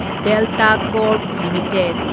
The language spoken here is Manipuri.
Delta corp limited